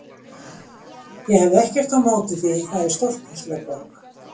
Ég hefði ekkert á móti því það er stórkostleg borg.